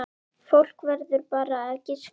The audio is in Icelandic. Fólk verður bara að giska.